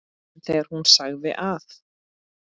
En þegar hún sagði að